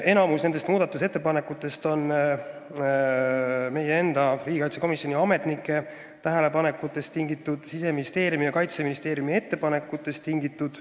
Enamik nendest on meie enda, riigikaitsekomisjoni ametnike tähelepanekutest ning Siseministeeriumi ja Kaitseministeeriumi ettepanekutest tingitud.